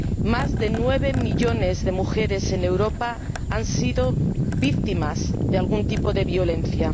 Más de nueve millones de mujeres en Europa han sido víctimas de algún tipo de violencia.